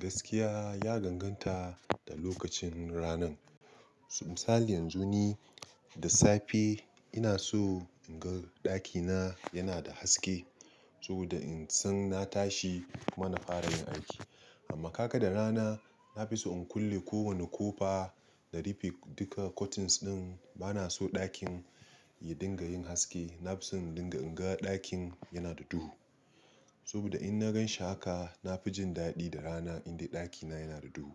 Gaskiya ya ganganta da lokacin rana. Misali yanzu ni da safe ina so in ga ɗakina yana da haske saboda in san na tashi mana fara yin aiki. Amma kaga da rana na fi so in kulle kowane kofa da rufe duka curtains din. Ba na so ɗakin ya dinga yin haske. Na fi son in dinga in ga ɗakin yana da duhu saboda in na gan shi haka, na fi jin daɗi da rana in dai ɗakina yana da duhu.